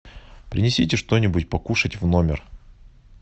принесите что нибудь покушать в номер